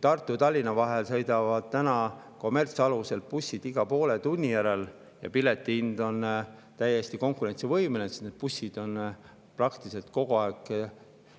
Tartu ja Tallinna vahel sõidavad kommertsalusel bussid iga poole tunni järel ja piletihind on täiesti konkurentsivõimeline, sest need bussid on praktiliselt kogu aeg,